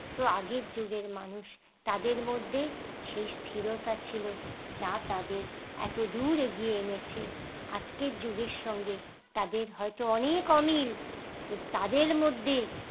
তো আগের যুগের মানুষ তাদের মধ্যে সেই স্থিরতা ছিল যা তাদের এত দূর এগিয়ে এনেছে আজকের যুগের সঙ্গে তাদের হয়তো অনেক অনেক অমিল কিন্তু তাদের মধ্যে